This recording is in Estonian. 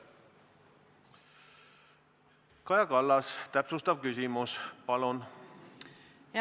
Kaja Kallas, täpsustav küsimus, palun!